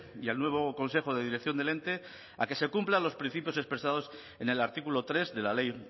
y al nuevo consejo de dirección del ente a que se cumplan los principios expresados en el artículo tres de la ley